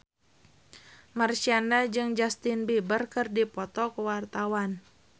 Marshanda jeung Justin Beiber keur dipoto ku wartawan